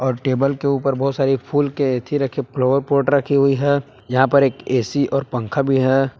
और टेबल के ऊपर बहुत सारी फुल के येथी रखे फ्लावर पॉट रखी हुई है यहां पर एक ए_सी और पंखा भी है।